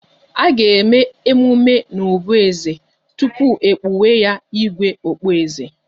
A ga-eme emume n'obí eze tupu e kpuwe 'igwe' okpueze